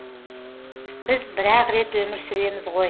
біз бір ақ рет өмір сүреміз ғой